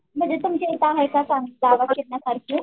म्हणजे तुमच्याइथे सांग आहे का जागा फिरण्यासारखी?